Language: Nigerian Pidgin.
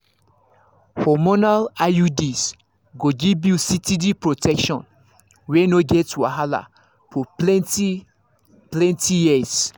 hormonal iuds go give you steady protection wey no get wahala for plenty-plenty years